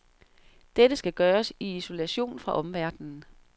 Dette skal gøres i isolation fra omverdenen.